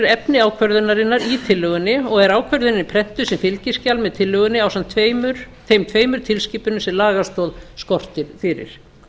efni ákvörðunarinnar í tillögunni og ákvörðunin prentuð sem fylgiskjal með tillögunni ásamt þeim tveimur tilskipunum sem lagastoð skortir fyrir